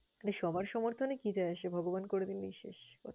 সবার সমর্থনে কি যায় আসে? ভগবান করে দিলেই শেষ।